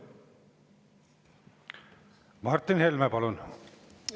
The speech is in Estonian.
Martin Helme, palun!